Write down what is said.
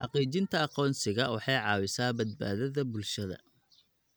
Xaqiijinta aqoonsiga waxay caawisaa badbaadada bulshada.